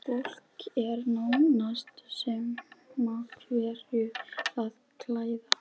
Fólki er nánast sama hverju það klæð